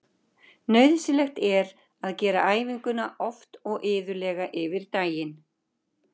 Nauðsynlegt er að gera æfinguna oft og iðulega yfir daginn.